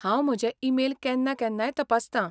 हांव म्हजे ईमेल केन्ना केन्नाय तपासतां.